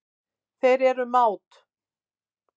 Þeir eru mát.